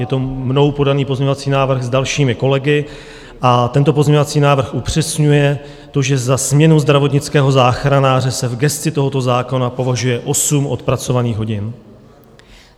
Je to mnou podaný pozměňovací návrh s dalšími kolegy a tento pozměňovací návrh upřesňuje to, že za směnu zdravotnického záchranáře se v gesci tohoto zákona považuje 8 odpracovaných hodin.